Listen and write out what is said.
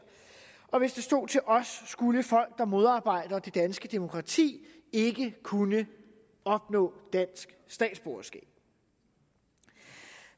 og hvis det stod til os skulle folk der modarbejder det danske demokrati ikke kunne opnå dansk statsborgerskab